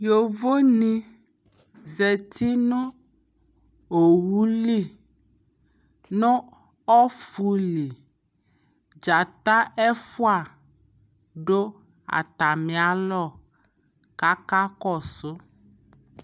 yɔvɔ ni zati nʋ ɔwʋli nʋ ɔƒʋli, dzata ɛƒʋa dʋ atami alɔ kʋaka kɔsʋ